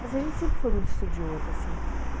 Mas a gente sempre foi muito estudioso, assim.